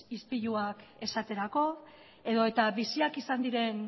ispiluak esaterako edota biziak izan diren